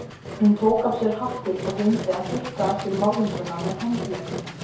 Hún tók af sér hattinn og reyndi að þurrka af sér málninguna með handleggnum.